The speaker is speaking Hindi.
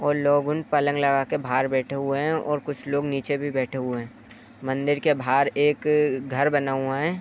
और लोगुन पलंग लगाके भार बैठे हुए हैं और कुछ लोग नीचे भी बैठे हुए हैं। मंदिर के भार एक घर बना हुआ है।